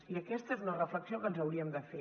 i aquesta és una reflexió que ens hauríem de fer